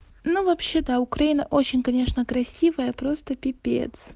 ну вообще да украина очень конечно красивая просто пипец